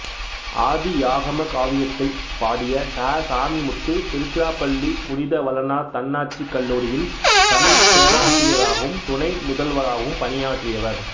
ஆதியாகம காவியத்தைப் பாடிய ச சாமிமுத்து திருச்சிராப்பள்ளி புனித வளனார் தன்னாட்சிக் கல்லூரியில் தமிழ்ப் பேராசிரியராகவும் துணை முதல்வராகவும் பணியாற்றியவர்